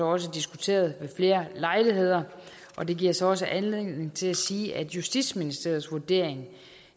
også diskuteret ved flere lejligheder og det giver så også anledning til at sige at justitsministeriets vurdering